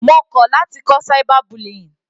Mo kọ̀ láti kọ́ cyber bullying.